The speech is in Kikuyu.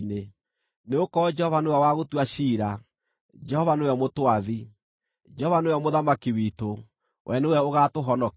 Nĩgũkorwo Jehova nĩwe wa gũtua ciira, Jehova nĩwe mũtwathi, Jehova nĩwe mũthamaki witũ: we nĩwe ũgaatũhonokia.